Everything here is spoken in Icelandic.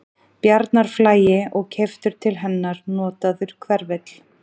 Bjarnarflagi og keyptur til hennar notaður hverfill.